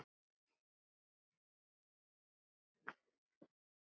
Þú varst sérlega vel gefin.